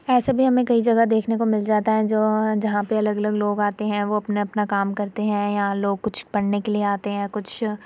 ऐसे भी हमें कई जगह देखने को मिल जाता है जो जहाँ पे अलग -अलग लोग आते है वो अपना- अपना काम करते है। यहाँ लोग कुछ पढने के लिए आते हैं कुछ --